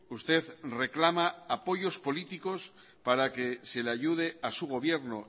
usted reclama apoyos políticos para que se le ayude a su gobierno